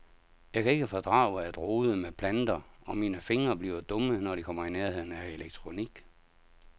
Jeg kan ikke fordrage at rode med planter, og mine fingre bliver dumme når de kommer i nærheden af elektronik.